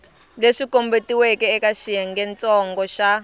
leswi kombetiweke eka xiyengentsongo xa